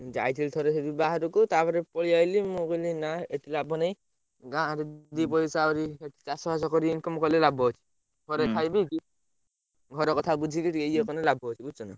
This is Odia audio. ମୁଁ ଯାଇଥିଲି ଥରେ ବାହାରକୁ ତାପରେ ପଳେଇଆଇଲି ମୁଁ କହିଲି ନା ଏଠି ଲାଭ ନାହି ଗାଁରେ ଦି ପଇସା ଆହୁରି ଚାଷ ଫାଶ କରି income କଲେ ଲାଭ ଅଛି ଘରେ ଖାଇପିଇକି ଘର କଥା ବୁଝିକି ଇଏ କଲେ ଲାଭ ଅଛି ବୁଝୁଛନା?